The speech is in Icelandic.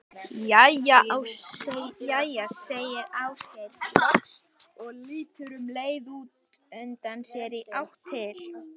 Jæja segir Ásgeir loks og lítur um leið út undan sér í átt til